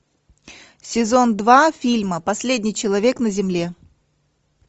сезон два фильма последний человек на земле